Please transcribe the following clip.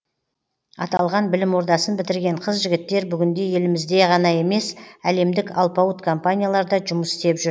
аталған білім ордасын бітірген қыз жігіттер бүгінде елімізде ғана емес әлемдік алпауыт компанияларда жұмыс істеп жүр